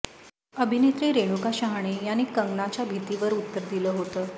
अभिनेत्री रेणुका शहाणे यांनी कंगनाच्या भीतीवर उत्तर दिलं होतं